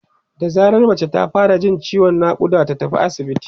da zarar mace ta fara Jin ciwon naƙuda ta tafi asibiti